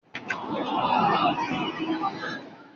Ṣe àwọn ọdẹ máa wá sun ìjálá?